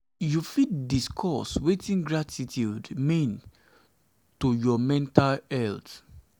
you fit discuss wetin gratitude mean to your mental health?